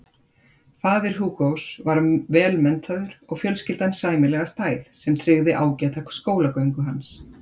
Faðir Hugos var vel menntaður og fjölskyldan sæmilega stæð sem tryggði ágæta skólagöngu hans.